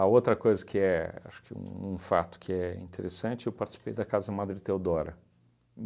A outra coisa que é, acho que um fato que é interessante, eu participei da Casa Madre Teodora.